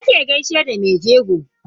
Ya ake gaishe da me jego?